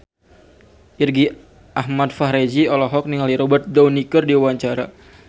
Irgi Ahmad Fahrezi olohok ningali Robert Downey keur diwawancara